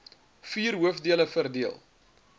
vier hoofdele verdeel